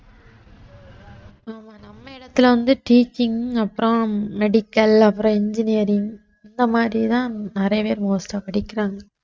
ஆமா நம்ம இடத்துல வந்து teaching அப்புறம் medical அப்புறம் engineering இந்த மாதிரி தான் நிறைய பேர் most ஆ படிக்கிறாங்க